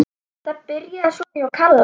Þetta byrjaði svona hjá Kalla.